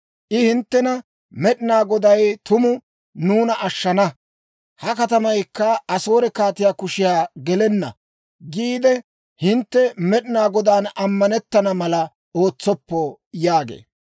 I hinttena, «Med'inaa Goday tuma nuuna ashshana; ha katamaykka Asoore kaatiyaa kushiyan gelenna» giide hintte Med'inaa Godaan ammanetana mala ootsoppo› yaagee.